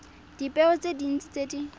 dipeo tse dintsi tse di